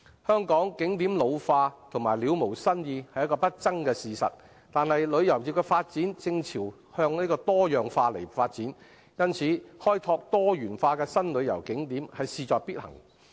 香港景點老化及了無新意是不爭的事實，但旅遊業的發展正朝向多樣化，開拓多元化的新旅遊景點因而事在必行。